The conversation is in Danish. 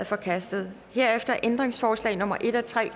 forkastet herefter er ændringsforslag nummer en og tre